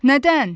Nədən?